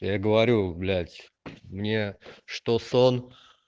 я ей говорю блядь мне что сон